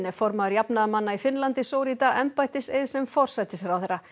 formaður jafnaðarmanna í Finnlandi sór í dag embættiseið sem forsætisráðherra